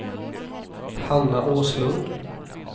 Hanna Åslund